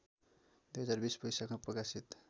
२०२० वैशाखमा प्रकाशित